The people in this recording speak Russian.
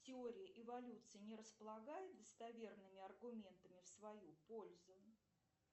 теория эволюции не располагает достоверными аргументами в свою пользу